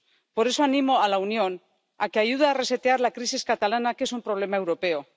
Por eso, animo a la Unión a que ayude a resetear la crisis catalana, que es un problema europeo.